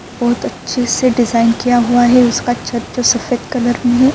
بھوت اچھے سے ڈیزائن کیا ہوا ہے۔ اسکا چھٹ جو سفید کلر مے ہے۔